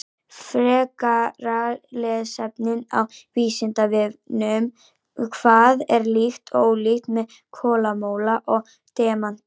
Frekara lesefni á Vísindavefnum: Hvað er líkt og ólíkt með kolamola og demanti?